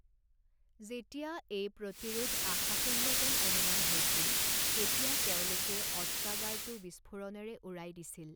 যেতিয়া এই প্ৰতিৰোধ আশাশূন্য যেন অনুমান হৈছিল, তেতিয়া তেওঁলোকে অস্ত্ৰাগাৰটো বিস্ফোৰণেৰে উৰাই দিছিল।